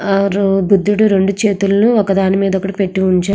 బుద్ధుడు రెండు చేతులను ఒకదానిమీద ఒకటి పెట్టి ఉంచారు.